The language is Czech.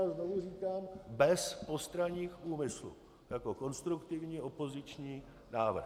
A znovu říkám, bez postranních úmyslů, jako konstruktivní opoziční návrh.